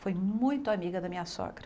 Fui muito amiga da minha sogra.